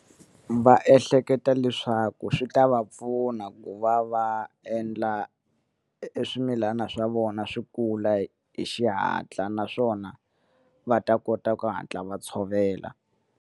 Va ehleketa leswaku swi ta va pfuna ku va va endla e swimilana swa vona swi kula hi xihatla naswona va ta kota ku hatla va tshovela.